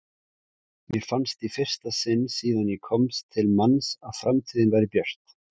Mér fannst í fyrsta sinn síðan ég komst til manns að framtíðin væri björt.